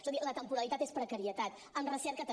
escolti la temporalitat és precarietat en recerca també